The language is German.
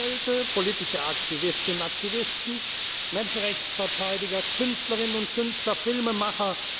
Anwälte, politische Aktivistinnen und Aktivisten, Menschenrechtsverteidiger, Künstlerinnen und Künstler und Filmemacher.